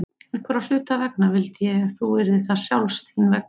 Einhverra hluta vegna vildi ég þú yrðir það sjálfs þín vegna.